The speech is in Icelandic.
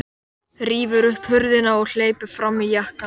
Rífur upp hurðina og hleypur fram með jakkann.